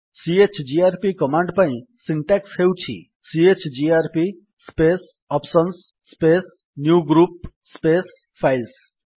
chgrp command ପାଇଁ syntax ହେଉଛି CHGRP space options space new group space files